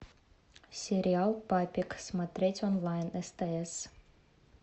сериал папик смотреть онлайн стс